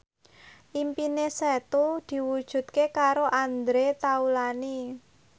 impine Setu diwujudke karo Andre Taulany